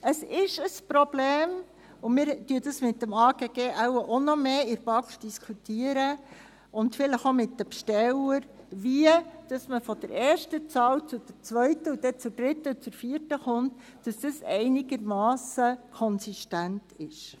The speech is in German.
Es ein Problem – wir werden dies in der BaK mit dem AGG, und vielleicht auch mit den Bestellern, sicher noch weiter diskutieren –, wie man von der ersten zur zweiten, zur dritten und zur vierten Zahl gelangt, damit das einigermassen konsistent ist.